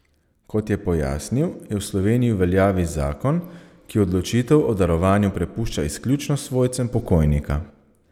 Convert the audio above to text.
Kot je pojasnil, je v Sloveniji v veljavi zakon, ki odločitev o darovanju prepušča izključno svojcem pokojnika.